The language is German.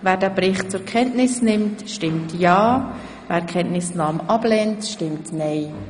Wer den Bericht zur Kenntnis nimmt, stimmt ja, wer dies ablehnt, stimmt nein.